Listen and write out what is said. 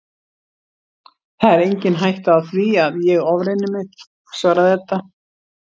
Það er engin hætta á því að ég ofreyni mig, svaraði Edda.